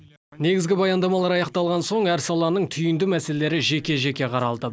негізгі баяндамалар аяқталған соң әр саланың түйінді мәселелері жеке жеке қаралды